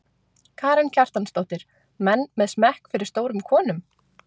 Karen Kjartansdóttir: Menn með smekk fyrir stórum konum?